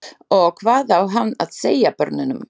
Og hvað á hann að segja börnunum?